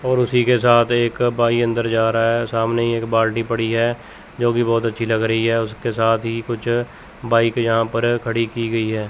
और उसी के साथ एक भाई अंदर जा रहा है सामने एक बाल्टी पड़ी है जोकि बहोत अच्छी लग रही है उसके साथ ही कुछ बाइक यहां पर खड़ी की गई है।